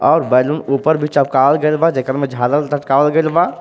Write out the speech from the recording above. अउर बैलून ऊपर भी गइल बा जेकर में झालर लटकावल गइल बा.